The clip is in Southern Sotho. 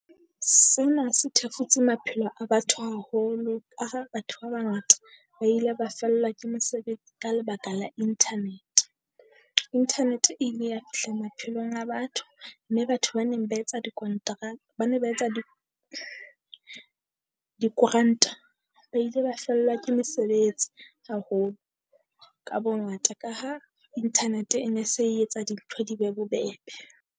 Sena se thefutse maphelo a batho haholo a ha batho ba bangata ba ile ba fellwa ke mosebetsi ka lebaka la internet. Internet e ile ya fihla maphelong a batho, mme batho ba neng ba etsa di ba ne ba etsa di dikoranta ba ile ba fellwa ke mesebetsi haholo ka bongata. Ka ha internet e ne se etsa dintho di be bobebe.